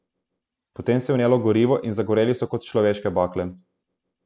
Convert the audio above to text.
Potem se je vnelo gorivo in zagoreli so kot človeške bakle.